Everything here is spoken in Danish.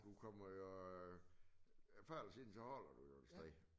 Du kommer jo øh før eller siden så holder du jo et sted